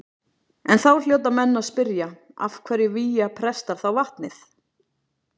En þá hljóta menn að spyrja af hverju vígja prestar þá vatnið.